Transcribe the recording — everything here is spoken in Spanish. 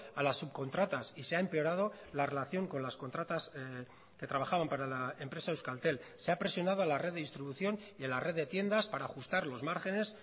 a las subcontratas y se ha empeorado la relación con las contratas que trabajaban para la empresa euskaltel se ha presionado a la red de distribución y a la red de tiendas para ajustar los márgenes